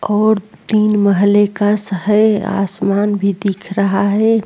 और तीन महले कस हैं। आसमान भी दिख रहा है।